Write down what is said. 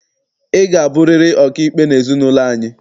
Ị ga-abụriri ọkaikpe n'ezinaụlọ anyị!